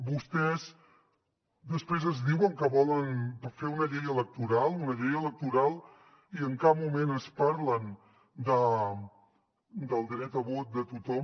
vostès després ens diuen que volen fer una llei electoral una llei electoral i en cap moment ens parlen del dret a vot de tothom